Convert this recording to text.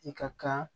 I ka kan